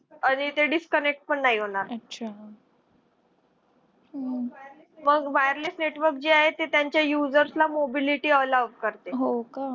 आणि ते disconnect पण नाही होणार. . हो मग wireless network जे आहे ते त्यांच्या usesr ला mobility allowed करते.